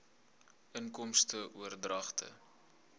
inkomste oordragte